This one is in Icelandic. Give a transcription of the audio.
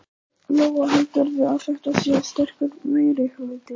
Lóa: Heldurðu að þetta sé sterkur meirihluti?